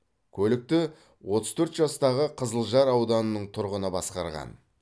көлікті отыз төрт жастағы қызылжар ауданының тұрғыны басқарған